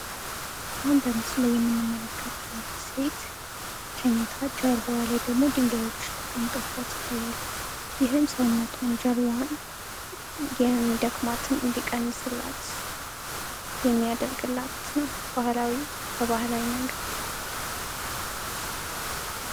አሁን በምስሉ ላይ የምንመለካታት ሴት ተኝታ ጀርባዋ ላይ ደንጋዮች ተቀምጠዉባት ይታያሉ። ይህም ሰውነቷን ጀርባዋን የሚደክማትን እንዲቀንስላት የሚያደርግላት ነው። ባህላዊ በባህላዊ መንገድ።